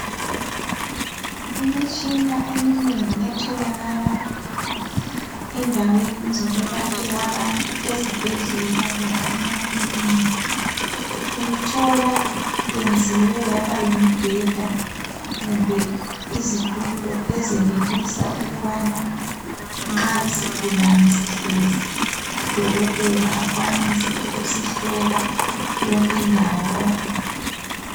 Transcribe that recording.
Imitshina eminengi etholakala endaweni ezokuyelaphela abantu ezibhedlela loba emaclinikha uyithola iyenziwe yaba yimibheda kumbe izitulo ezenelisa ukubana nxa isigulani sihlezi udokotela akwanise ukusihlola yonke indawo kakuhle